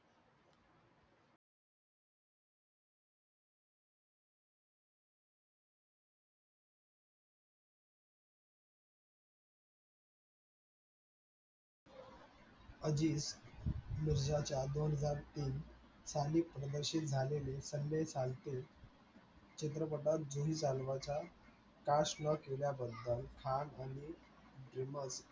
अजीज मिर्झाजाच्या दोन हजार तीन साली प्रदर्शीत झालेल. संजय सारखे चित्रपटात जुनी चालव्याच्या caste न केल्या बद्दल fan आणि dreamer